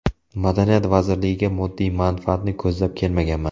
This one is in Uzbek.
Madaniyat vazirligiga moddiy manfaatni ko‘zlab kelmaganman.